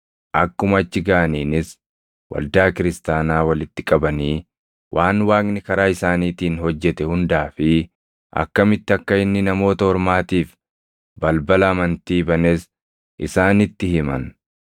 Akkuma achi gaʼaniinis waldaa kiristaanaa walitti qabanii waan Waaqni karaa isaaniitiin hojjete hundaa fi akkamitti akka inni Namoota Ormaatiif balbala amantii banes isaanitti himan.